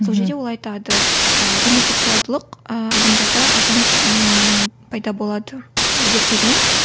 мхм сол жерде ол айтады ыыы гомосексуалдылық ыыы адамдарда қашан ммм пайда болады зерттеген